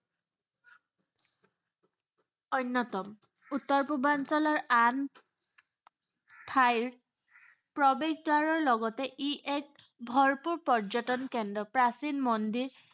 অন্য়তম। উত্তৰ পূৰ্বাঞ্চলৰ আন ঠাইৰ প্ৰৱেশদ্বাৰৰ লগতে ই এক ভৰপূৰ পৰ্যটন কেন্দ্ৰ, প্ৰাচীন মন্দিৰ